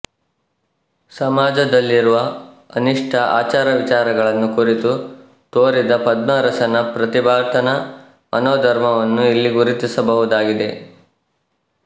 ಸಮಾಜದಲ್ಲಿರುವ ಅನಿಷ್ಟ ಆಚಾರವಿಚಾರಗಳನ್ನು ಕುರಿತು ತೋರಿದ ಪದ್ಮರಸನ ಪ್ರತಿಭಟನಾ ಮನೋಧರ್ಮವನ್ನು ಇಲ್ಲಿ ಗುರುತಿಸಬಹುದಾಗಿದೆ